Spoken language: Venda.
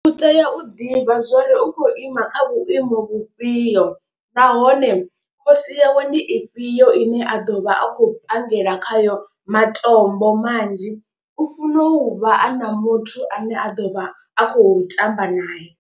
U tea u ḓivha zwori u khou ima kha vhuimo vhufhio, nahone khosi yawe ndi ifhio ine a ḓo vha a khou pangela khayo matombo manzhi. U funa u vha a na muthu ane a ḓo vha a khou tamba naye.